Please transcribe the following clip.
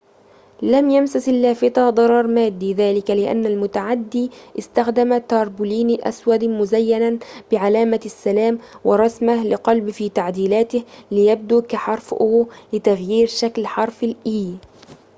لم يمسس اللافتة ضرر مادي؛ ذلك لأن المتعدي استخدم تربولين أسود مزيناً بعلامة السلام ورسمة لقلب في تعديلاته لتغيير شكل حرف ال"o ليبدو كحرف e